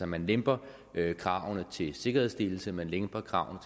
man lemper kravene til sikkerhedsstillelse man lemper kravene